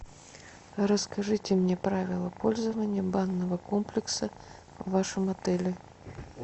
расскажите мне правила пользования банного комплекса в вашем отеле